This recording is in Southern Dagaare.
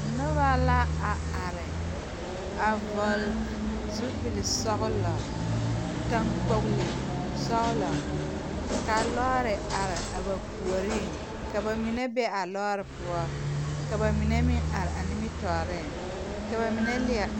Nobɔ la a are a vɔgle zupilsɔglɔ taŋkpogle sɔglɔ kaa lɔɔre are a ba puoriŋ ka ba mine be a lɔɔre poɔ ka ba mine meŋ are a nimitooreŋ ka ba mine leɛ.